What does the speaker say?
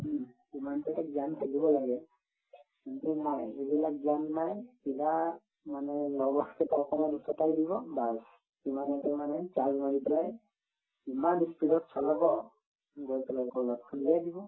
হুম, সিমানতো এটা জ্ঞান থাকিব লাগে যে নাই সিবিলাক জ্ঞান নাই কিবা মানে লগৰকেইটাই অকমান উচতাই দিব bass ইমান ই speed ত চলাব গৈ পেলাই কৰবাত খুন্দিয়াই দিব